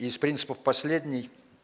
из принципов последний